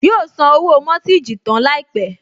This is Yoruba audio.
Yóò san owó mọ́tíìjì tán láìpẹ́